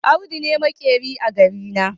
Audu ne maƙeri a garina.